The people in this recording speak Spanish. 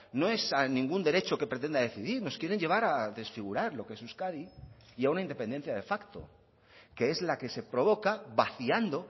no es a ningún derecho que pretenda decidir nos quieren llevar a desfigurar lo que es euskadi y a una independencia de facto que es la que se provoca vaciando